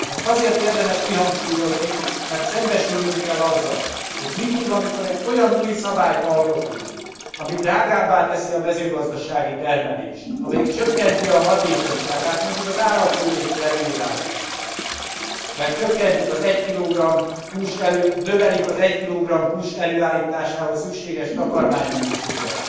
Ezt azért érdemes kihangsúlyozni, mert szembesülnünk kell azzal, hogy mindig, amikor egy olyan új szabályt alkotunk, ami drágábbá teszi a mezőgazdasági termelést, amelyik csökkenti a hatékonyságát mondjuk az állatjóléti előírások mert növelik az 1 kg hús előállításához szükséges takarmánymennyiséget,